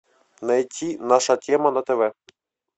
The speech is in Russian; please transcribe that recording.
найти наша тема на тв